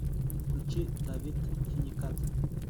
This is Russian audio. включи давид хиникадзе